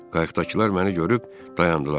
Qayıqdakılar məni görüb dayandılar.